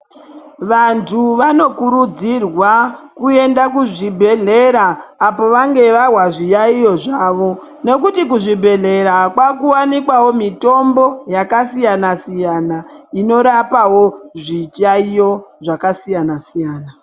Vantu vanokurudzirwa kuenda kuzvibhehleya apo vanga vahwa zviyayiyo zvavo nokuti kuzvibhehleya kwakuwanikawo mitombo yakasiyana siyana inorapawo zviyayiyo zvakasiyana siyana.